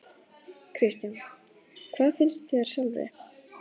Kristján: Hvað finnst þér sjálfri?